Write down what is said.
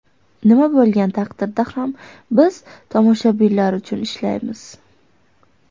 Nima bo‘lgan taqdirda ham biz tomoshabinlar uchun ishlaymiz.